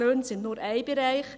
Die Löhne sind nur ein Bereich.